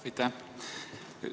Aitäh!